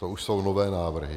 To už jsou nové návrhy.